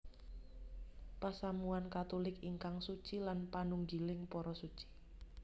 Pasamuwan Katulik ingkang suci lan panunggiling para Suci